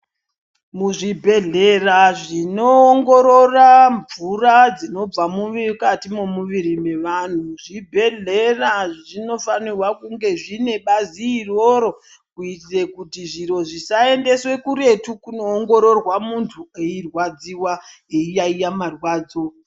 Muzvibhehlera zvinoongorora mvura dzinobva muvi mukati memuviri mevanhu zvibhehlera zvinofanira kunge zvine bazi iroro kuitire kuti zviro zvisaendeswe kuretu kunoongororwa muntu eirwadziwa eiyaiya marwadzo .